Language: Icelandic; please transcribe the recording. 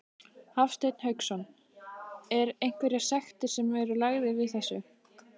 Hafsteinn Hauksson: Er einhverjar sektir sem eru lagðar við þessu?